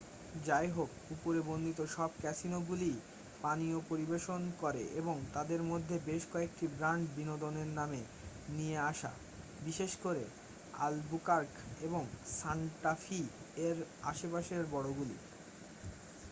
যাইহোক উপরে বর্ণিত সব ক্যাসিনোগুলিই পানীয় পরিবেশন করে এবং তাদের মধ্যে বেশ কয়েকটি ব্র্যান্ড বিনোদনের নামে নিয়ে আসে বিশেষ করে অলবুকার্ক এবং সান্টা ফি এর আশেপাশের বড়গুলি।